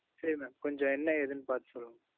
சரி mam கொஞ்சம், என்ன, ஏதுன்னு, பாத்து சொல்லுங்க.